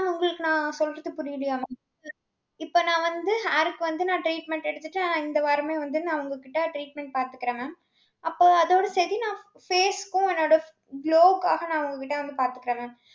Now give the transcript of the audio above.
mam உங்களுக்கு நான் சொல்றது புரியலையா mam இப்ப நான் வந்து hair க்கு வந்து நான் treatment எடுத்துட்டு இந்த வாரமே வந்து நான் உங்ககிட்ட treatment பாத்துக்கறேன் mam. அப்போ, அதோட சரி நான் face க்கும் என்னோட glow க்காக நான் உங்க கிட்ட வந்து பாத்துக்கறேன் mam.